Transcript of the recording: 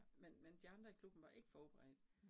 Men men de andre i klubben var ikke forberedte